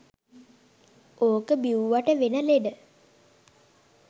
ඕක බිව්වට වෙන ලෙඩ